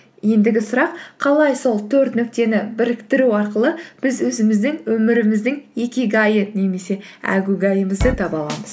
ендігі сұрақ қалай сол төрт нүктені біріктіру арқылы біз өзіміздің өміріміздің икигайы немесе әгугайымызды таба аламыз